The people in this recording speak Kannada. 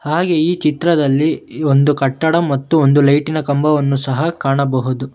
ಹಾಗೆ ಈ ಚಿತ್ರದಲ್ಲಿ ಒಂದು ಕಟ್ಟಡ ಮತ್ತು ಒಂದು ಲೈಟಿನ ಕಂಬವನ್ನು ಕಾಣಬಹುದು.